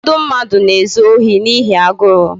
Ụfọdụ mmadụ na-ezu ohi n'ihi agụrụ